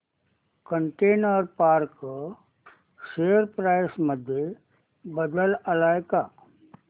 container corp share price मध्ये बदल आलाय का